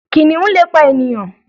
Kìnìun le pa ènìyàn.